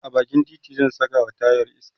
a bakin titi zan Saka wa tayar iska